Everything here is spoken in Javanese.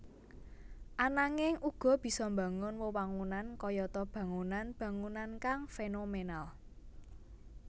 Ananging uga bisa mbangun wewangunan kayata bangunan bangunan kang fénomènal